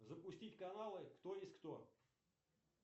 запустить каналы кто есть кто